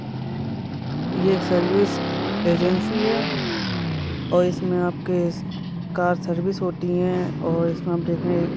यह service agency है और इसमें आपकी कार सर्विस होती है और इसमें हम देखें--